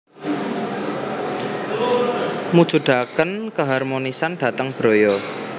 Mujudakenkeharmonisan dateng braya